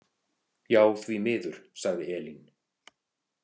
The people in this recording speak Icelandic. Já, því miður, sagði Elín.